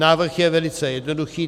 Návrh je velice jednoduchý.